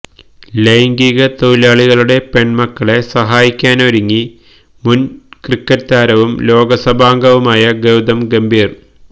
ലൈംഗിക തൊഴിലാളികളുടെ പെണ്മക്കളെ സഹായിക്കാനൊരുങ്ങി മുന് ഇന്ത്യന് ക്രിക്കറ്റ് താരവും ലോക്സഭാംഗവുമായ ഗൌതം ഗംഭീര്